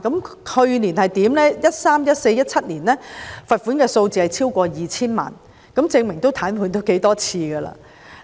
過去在2013年、2014年及2017年，罰款數字超過 2,000 萬元，證明也癱瘓了不少次。